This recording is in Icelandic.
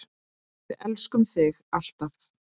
Við elskum þig, alltaf.